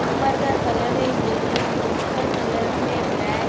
ऊपर का कलर है येलो नीच का कलर है ब्लैक.